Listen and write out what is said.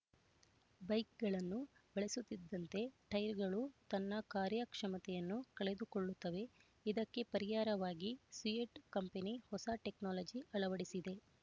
ಬೈಕ್‌ಗಳನ್ನು ಬಳಸುತ್ತಿದ್ದಂತೆ ಟೈರ್‌ಗಳು ತನ್ನ ಕಾರ್ಯ ಕ್ಷಮತೆಯನ್ನು ಕಳೆದುಕೊಳ್ಳುತ್ತವೆ ಇದಕ್ಕೆ ಪರಿಹಾರವಾಗಿ ಸಿಯೆಟ್ ಕಂಪನಿ ಹೊಸ ಟೆಕ್ನಾಲಜಿ ಅಳವಡಿಸಿದೆ